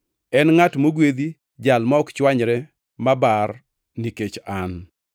En ngʼat mogwedhi jal ma ok chwanyre mabar nikech an.”